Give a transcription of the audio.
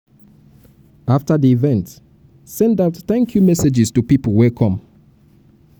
after di event send out thank um you um messages to pipo wey come